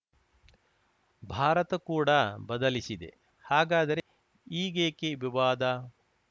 ಭಾರತ ಕೂಡ ಬದಲಿಸಿದೆ ಹಾಗಾದರೆ ಈಗೇಕೆ ವಿವಾದ